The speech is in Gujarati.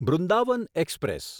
બૃંદાવન એક્સપ્રેસ